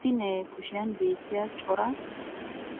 Issi na'ee kushiyan beetiya cora